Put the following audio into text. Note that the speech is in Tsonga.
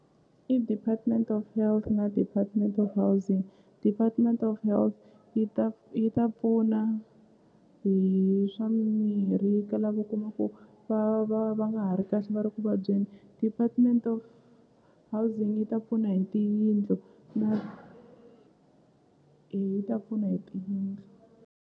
I department of health na department of housing department of health yi ta yi ta pfuna hi swa mimirhi ka lava u kuma ku va va va nga ha ri kahle va ri ku vabyeni department of housing yi ta pfuna hi tiyindlu na eya yi ta pfuna hi tiyindlu.